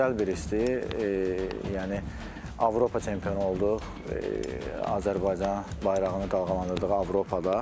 Gözəl bir histir, yəni Avropa çempionu olduq, Azərbaycan bayrağını qaldırdıq Avropada.